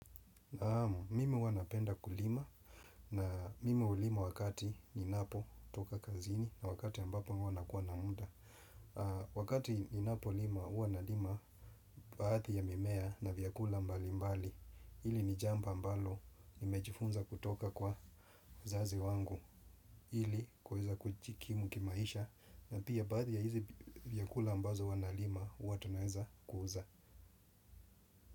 Naamu, mimi huwa napenda kulima na mimi hulima wakati, ninapo toka kazini na wakati ambapo uwana kuwa na munda. Wakati ninapo lima, uwanalima baadhi ya mimea na vyakula mbali mbali. Hili ni jambo ambalo, nimejifunza kutoka kwa uzazi wangu. Ili, kuweza kujikimu kimaisha na pia, baadhi ya hizi vyakula ambazo huwa nalima, uwa tunaeza kuuza.